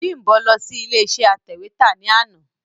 Bímbọ̀ lọ sí ilé iṣé atẹ̀wétà ní àná.